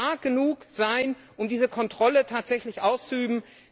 Und es muss stark genug sein, um diese Kontrolle tatsächlich auszuüben.